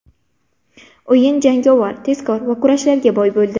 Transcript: O‘yin jangovar, tezkor va kurashlarga boy bo‘ldi.